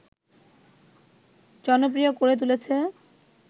জনপ্রিয় করে তুলেছে